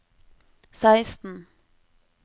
seksten